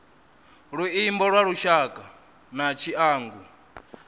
luimbo lwa lushaka na tshiangu